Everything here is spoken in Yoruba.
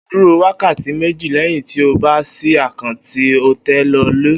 O óò dúró wákàtí méjì lé̩yìn tí o bá s̩I àkáǹtì kí o tó lè lòó